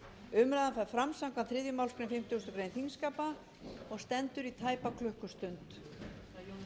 umræðan fer fram samkvæmt þriðju málsgrein fimmtugustu grein þingskapa og stendur í tæpa klukkustund